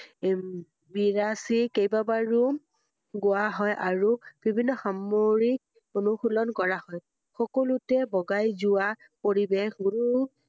উম বিৰাসি কেইবা বাৰু গোৱা হয় আৰু বিভিন্ন সাম~ৰিক অনুশীলন কৰা হয় সকলোতে বগাই যোৱা পৰিবেশ গুৰু